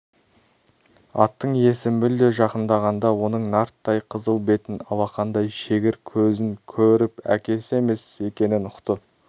аттың иесі мүлде жақындағанда оның нарттай қызыл бетін алақандай шегір көзін көріп әкесі емес екенін ұқты